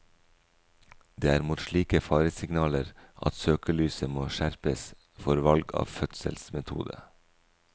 Det er mot slike faresignaler at søkelyset må skjerpes for valg av fødselsmetode.